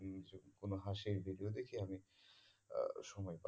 কোনো হাসির video দেখি আমি আহ সময় পার করি